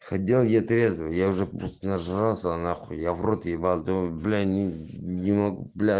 ходил я трезвый я уже просто нажрался нахуй я в рот ебал думаю бля не не могу бля